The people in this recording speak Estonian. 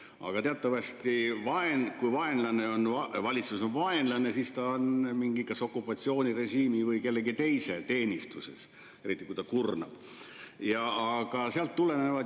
Aga teatavasti, kui valitsus on vaenlane, siis ta on kas mingi okupatsioonirežiimi või kellegi teise teenistuses, eriti siis, kui ta kurnab.